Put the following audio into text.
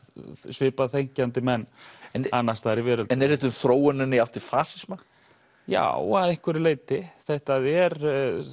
svipað þenkjandi menn annars staðar í veröldinni en er þetta um þróunina í átt til fasisma já að einhverju leyti þetta er